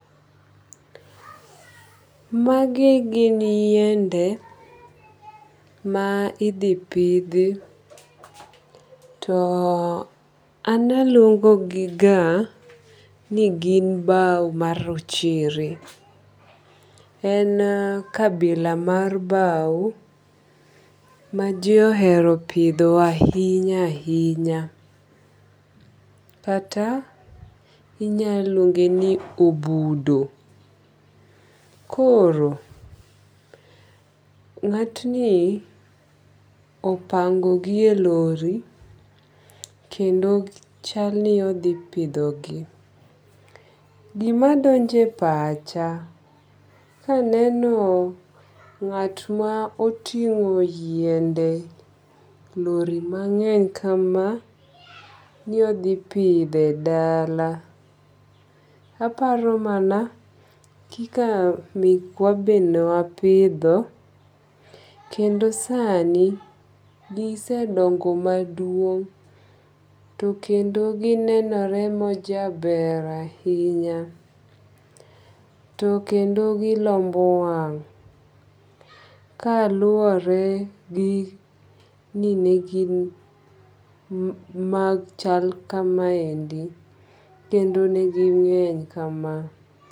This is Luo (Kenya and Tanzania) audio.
Magi gin yiende ma idhi pidhi to analuongo gi ga ni gin baw ma rochere. En kabila mar baw ma ji ohero pidho ahinya ahinya. Kata inya luonge ni obudo. Koro, ng'at ni opango gi e lori kendo chal ni odhi pidho gi. Gima donje e pacha kaneno ng'at ma oting'o yiende, lori mang'eny kama ni odhi pidhe dala. Aparo mana kika mekwa be ne wapidho kendo sani gisedongo maduong' to kendo ginenore majaber ahinya. To kendo gilombo wang' kaluwore gi ni negin machal kamaendi kendo ne gi ng'eny kama.